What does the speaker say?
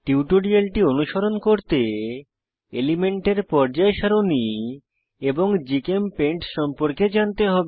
টিউটোরিয়ালটি অনুসরণ করতে এলিমেন্টের পর্যায় সারণী এবং জিচেমপেইন্ট সম্পর্কে জানতে হবে